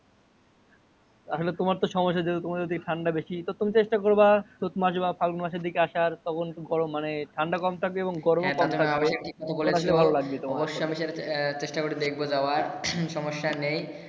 আসলে তোমারতো সমস্যা হয়ে যাবে। তোমার যদি ঠান্ডা বেশি। তুমি চেষ্টা করবা চৈত মাস বা ফাল্গুন মাসে দিকে আসার। গরম মানে ঠান্ডা কম থাকবে এবং গরম কম থাকবে। হ্যা তাতো ঠিক কথা বলেছো। অবশ্যই আমি সেটা চেষ্টা করে দেখবো যাওয়ার। সমস্যা নেই